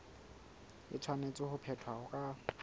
e tshwanetse ho phethwa ka